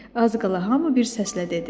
Az qala hamı bir səslə dedi: